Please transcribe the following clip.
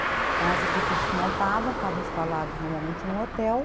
Então as equipes se montavam, ficavam instaladas normalmente num hotel,